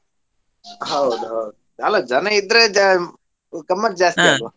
ಹೌದೌದು, ಅಲ್ಲ ಜನ ಇದ್ರೆ ಗಮ್ಮತ್ ಜಾಸ್ತಿ ?